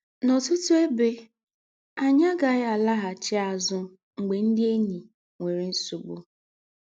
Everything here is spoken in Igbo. N’ọ́tụ̀tụ̀ ebe, ányị̀ agàghị̀ àlàghàchí àzụ̀ mgbè ndị̀ ényí nwèrè nsọ̀gbù